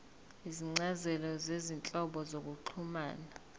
izincazelo zezinhlobo zokuxhumana